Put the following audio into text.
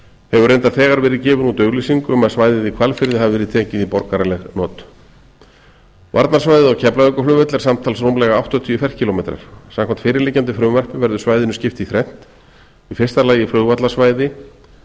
hefur reyndar þegar verið gefin út auglýsing um að svæðið í hvalfirði hafi verið tekið í borgaraleg not varnarsvæðið á keflavíkurflugvelli er samtals rúmlega áttatíu ferkílómetrar samkvæmt fyrirliggjandi frumvarpi verður svæðinu skipt í þrennt í fyrsta lagi flugvallarsvæði